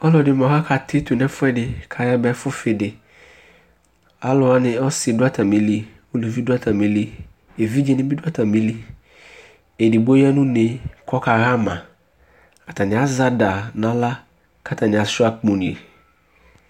Alu ɛdi ni mua akati tu nʋ ɛfuɛdi kayaba ɛfʋfidiAluwani asi dʋ atamili, uluvi dʋ atamiliEvidze nibi dʋ atamiliEdigbo ya nʋne kɔkaɣamaAtani azɛ ada naɣla, katani asuia akpo ni